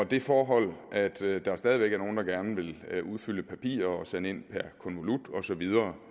det forhold at der stadig væk er nogle der gerne vil udfylde papirer og sende ind per konvolut og så videre